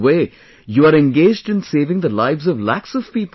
In a way, you are engaged in saving the lives of lakhs of people